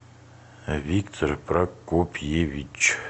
виктор прокопьевич